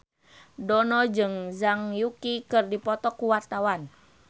Dono jeung Zhang Yuqi keur dipoto ku wartawan